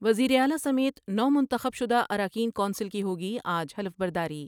وزیراعلی سمیت نومنتخب شدہ اراکین کونسل کی ہوگی آج حلف برداری ۔